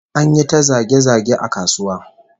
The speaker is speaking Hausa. An yi ta zage-zage a kasuwa